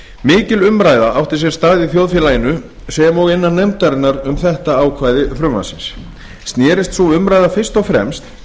mikil umræða átti sér stað í þjóðfélaginu sem og innan nefndarinnar um þetta ákvæði frumvarpsins sneri sú umræða fyrst og fremst